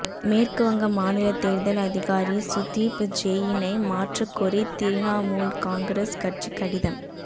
மேற்கு வங்க மாநில தேர்தல் அதிகாரி சுதீப் ஜெயினை மாற்றக்கோரி திரிணாமுல் காங்கிரஸ் கட்சி கடிதம்